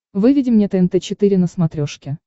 выведи мне тнт четыре на смотрешке